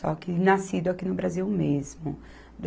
Só que nascido aqui no Brasil mesmo.